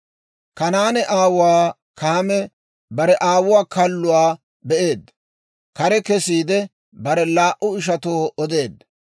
Kanaane aawuwaa Kaame bare aawuwaa kalluwaa be'eedda; kare kesiide, bare laa"u ishatoo odeedda.